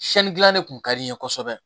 gilali kun ka di n ye kosɛbɛ